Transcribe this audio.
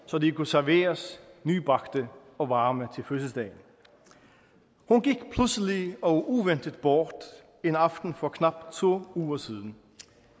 så de kunne serveres nybagte og varme til fødselsdagen hun gik pludselig og uventet bort en aften for knap to uger siden